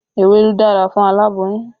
Ewédú dára fún aláboyún